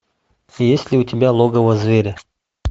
есть ли у тебя логово зверя